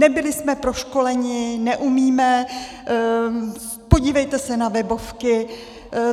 Nebyli jsme proškoleni, neumíme, podívejte se na webovky.